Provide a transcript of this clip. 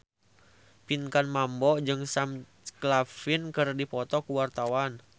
Pinkan Mambo jeung Sam Claflin keur dipoto ku wartawan